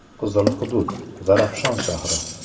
“Qizil” hudud: Zarafshon shahri.